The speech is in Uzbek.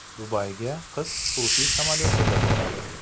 Dubayga qiz xususiy samolyotida boradi.